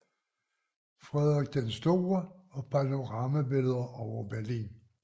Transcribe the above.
Frederik den Store og panoramabilleder over Berlin